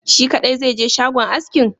Shi kadai zaije shagon askin?